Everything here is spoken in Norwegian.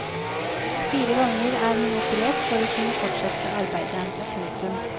Fire ganger er hun operert for å kunne fortsette arbeidet. punktum